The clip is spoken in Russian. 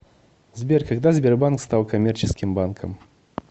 сбер когда сбербанк стал коммерческим банком